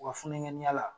U ka funukɛniyala